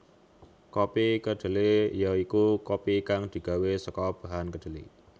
Kopi kedhelé ya iku kopi kang digawé saka bahan kedhelé